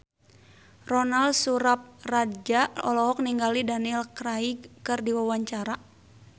Ronal Surapradja olohok ningali Daniel Craig keur diwawancara